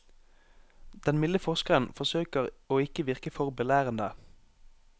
Den milde forskeren forsøker å ikke virke for belærende.